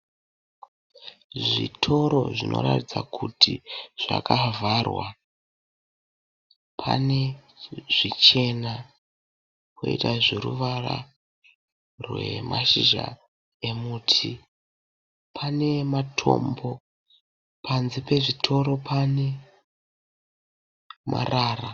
Zvitoro zvinoratidza kuti zvakavharwa. Pane zvichena poita zveruvara rwemashizha emiti pane matombo. Panze pezvitoro pane marara.